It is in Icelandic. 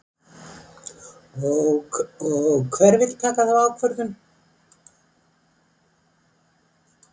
Og hver vill taka þá ákvörðun?